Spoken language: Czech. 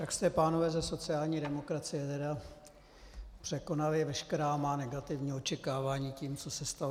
Tak jste, pánové ze sociální demokracie, tedy překonali veškerá má negativní očekávání tím, co se stalo.